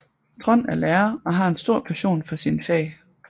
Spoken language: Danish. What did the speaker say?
Trond er lærer og har en stor passion for sine fag